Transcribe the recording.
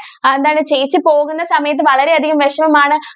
എന്താണ് ചേച്ചി പോകുന്ന സമയത്തു വളരെ അധികം വിഷമം ആണ്